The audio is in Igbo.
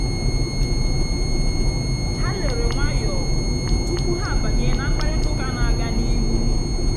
há lèrè nwàyọ́ túpú há àbányé nà mkpàrị́tà ụ́ká nà-àgá n'íhú.